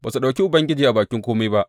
Ba su ɗauki Ubangiji a bakin kome ba.